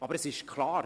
Aber es ist klar: